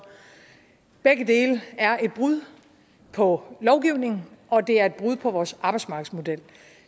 begge dele er et brud på lovgivningen og det er et brud på vores arbejdsmarkedsmodel